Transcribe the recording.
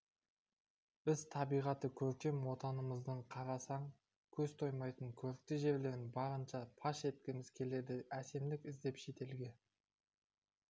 біз табиғаты көркем отанымыздың қарасаң көз тоймайтын көрікті жерлерін барынша паш еткіміз келеді әсемдік іздеп шетелге